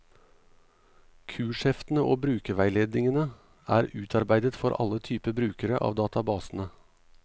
Kursheftene og brukerveiledningene er utarbeidet for alle typer brukere av databasene.